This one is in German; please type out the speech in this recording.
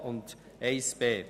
Kommissionssprecher der SAK.